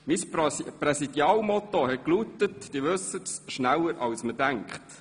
Mein Präsidialmotto lautete, wie Sie wissen: schneller als man denkt!